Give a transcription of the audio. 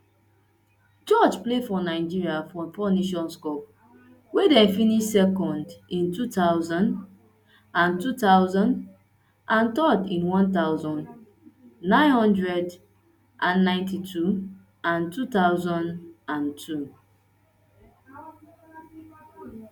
george play for nigeria for four nations cups wia dem finish second in two thousand and two thousand and third in one thousand, nine hundred and ninety-two and two thousand and two